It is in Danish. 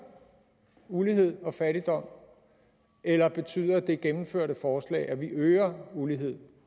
ulighed og fattigdom eller betyder det gennemførte forslag at vi øger ulighed